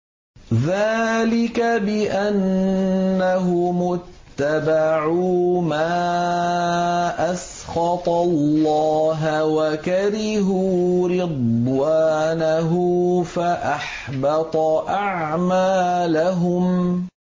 ذَٰلِكَ بِأَنَّهُمُ اتَّبَعُوا مَا أَسْخَطَ اللَّهَ وَكَرِهُوا رِضْوَانَهُ فَأَحْبَطَ أَعْمَالَهُمْ